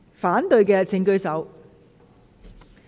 反對的請舉手。